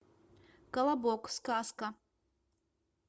колобок сказка